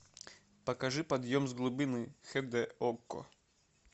покажи подъем с глубины хд окко